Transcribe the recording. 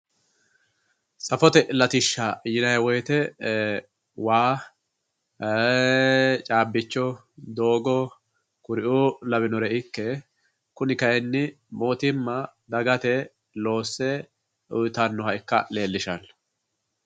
Safote latishsha yinanni woyte e"ee waa caabbicho, doogo kuriu labbinore ikke kayinni mootimma dagate loosse uyittanoha leellishano.